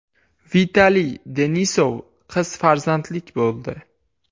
Vitaliy Denisov qiz farzandlik bo‘ldi.